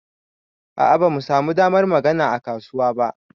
A'a bamu samu damar magana a kasuwa ba.